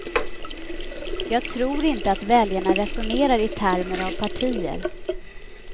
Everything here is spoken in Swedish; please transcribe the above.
Jag tror inte att väljarna resonerar i termer av partier.